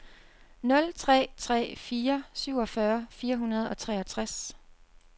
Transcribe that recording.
nul tre tre fire syvogfyrre fire hundrede og treogtres